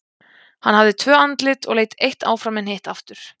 hann hafði tvö andlit og leit eitt áfram en hitt aftur